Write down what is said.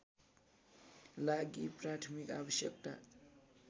लागि प्राथमिक आवश्यकता